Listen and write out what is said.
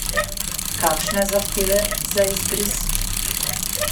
Kakšne zahteve za izbris?